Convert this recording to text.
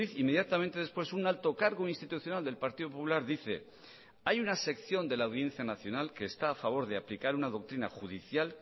inmediatamente después un alto cargo institucional del partido popular dice hay una sección de la audiencia nacional que está a favor de aplicar una doctrina judicial